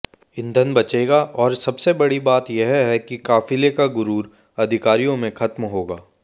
ईंधन बचेगा और सबसे बड़ी बात यह कि काफिले का गुरूर अधिकारियों में खत्म होगा